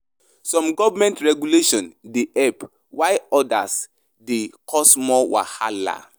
Some government regulations dey help, while odas dey cause more wahala.